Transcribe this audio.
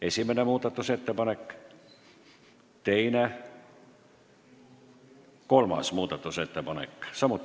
Esimene muudatusettepanek, teine, kolmas.